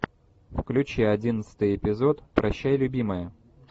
включи одиннадцатый эпизод прощай любимая